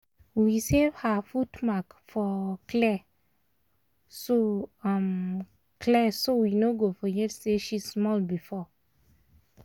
we save her foot mark for clay so um clay so we no go forget say she small before